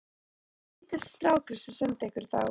Það var lítill strákur sem sendi ykkur þá.